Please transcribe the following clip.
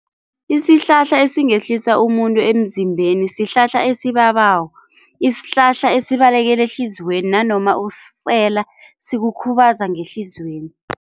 Isihlahla esingehlisa umuntu emzimbeni sihlahla esibabako, isihlahla esibalekela ehliziyweni nanoma usisela sikukhubaza ngehliziyweni.